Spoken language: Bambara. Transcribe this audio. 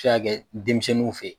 Bɛ se ka kɛ denmisɛnninw fɛ